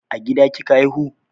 A gida kika haihu?